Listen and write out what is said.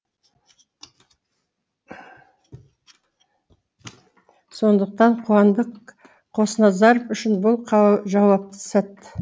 сондықтан қуандық қосназаров үшін бұл жауапты сәт